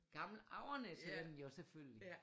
Gammel Avernæs hedder den jo selvfølgelig